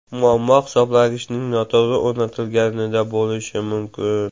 Muammo hisoblagichning noto‘g‘ri o‘rnatilganida bo‘lishi mumkin.